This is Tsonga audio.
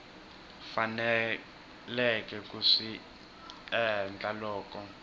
faneleke ku swi endla loko